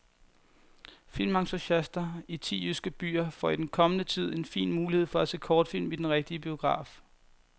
Filmentusiaster i ti jyske byer får i den kommende tid en fin mulighed for at se kortfilm i den rigtige biograf.